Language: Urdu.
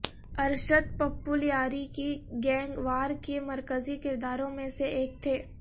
ارشد پپو لیاری کی گینگ وار کے مرکزی کرداروں میں سے ایک تھے